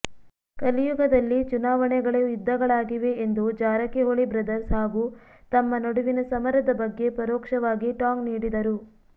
ಕಲಿಯುಗದಲ್ಲಿ ಚುನಾವಣೆಗಳೆ ಯುದ್ಧಗಳಾಗಿವೆ ಎಂದು ಜಾರಕಿಹೊಳಿ ಬ್ರದರ್ಸ್ ಹಾಗೂ ತಮ್ಮ ನಡುವಿನ ಸಮರದ ಬಗ್ಗೆ ಪರೋಕ್ಷವಾಗಿ ಟಾಂಗ್ ನೀಡಿದರು